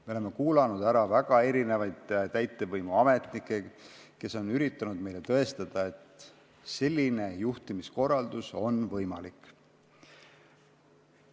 Me oleme kuulanud ära erinevaid täitevvõimu ametnikke, kes on üritanud meile tõestada, et selline juhtimiskorraldus on võimalik.